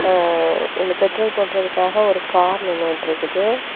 ஆ இதுல பெட்ரோல் போட்றதுக்காக ஒரு கார் நின்னூட்ருக்குது.